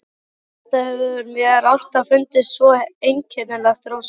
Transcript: Þetta hefur mér alltaf fundist svo einkennilegt, Rósa.